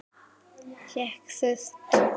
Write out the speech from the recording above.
Hékk þurrt.